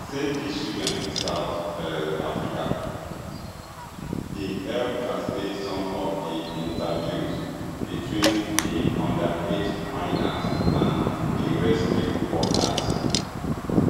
save di children south um africa bin help translate some of di interviews between di underage miners and di rescue workers